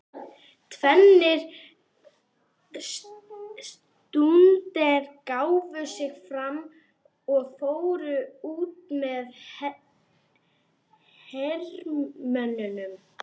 Tveir stúdentar gáfu sig fram og fóru út með hermönnunum.